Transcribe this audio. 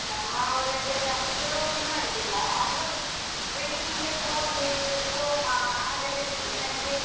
ನಮ್ಮ ಊರಲ್ಲೆಲ್ಲ ಅಷ್ಟು ಗೌಜಿ ಮಾಡುದಿಲ್ಲ, ಆದ್ರೂ ಬೆಳಿಗಿಂದ್ಲೇ ಪೂಜೆ ಹೋಮ ಹಾಗೆಲ್ಲ ಇರ್ತದೆ ಸಂಜೆ.